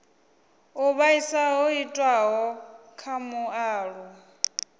u vhaisa ho itiwaho kha mualuwa